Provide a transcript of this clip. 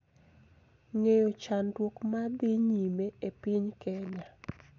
Ng�eyo chandruok ma dhi nyime e piny Kenya